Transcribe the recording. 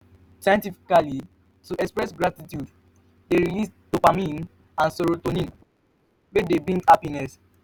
scientifically to de express gratitude de release dopamine and serotonin hormones wey de bring happiness